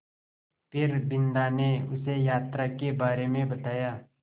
फिर बिन्दा ने उसे यात्रा के बारे में बताया